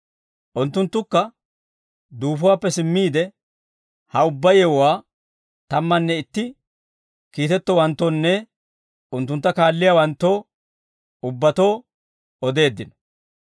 Unttunttukka duufuwaappe simmiide ha ubbaa yewuwaa tammanne itti kiitettowanttoonne unttuntta kaalliyaawanttoo ubbatoo odeeddino.